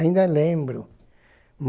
Ainda lembro.